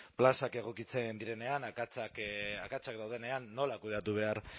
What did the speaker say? plazak egokitzen direnean akatsak daudenean nola kudeatu behar